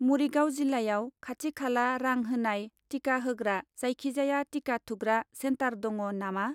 मरिगाव जिल्लायाव खाथि खाला रां होनाय टिका होग्रा जायखिजाया टिका थुग्रा सेन्टार दङ नामा?